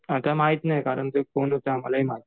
आता माहित नाही कारण ते कोण होतं आम्हालाही माहित नाही.